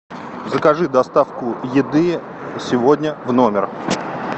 закажи доставку еды сегодня в номер